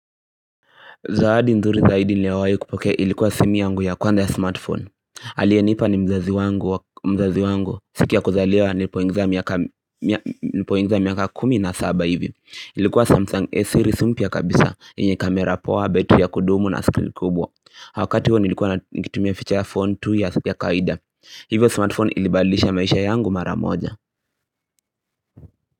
Zahadi nzuri zaidi ni yawayo kupoke ilikuwa simi yangu ya kuanda ya smartphone aliye nipa ni mzazi mzazi wangu siku ya kuzaliwa nilipoingiza miaka kumi na saba hivi Ilikuwa Samsung A-Series mya kabisa inye kamera poa betu ya kudumu na screen kubwa wakati huo nilikuwa na kitumia ficha ya phone 2 years kaida Hivyo smartphone ilibalisha maisha yangu maramoja.